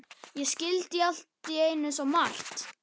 Ég skildi allt í einu svo margt.